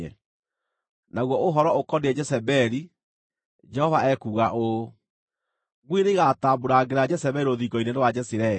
“Naguo ũhoro ũkoniĩ Jezebeli, Jehova ekuuga ũũ: ‘Ngui nĩigatambuurangĩra Jezebeli rũthingo-inĩ rwa Jezireeli.’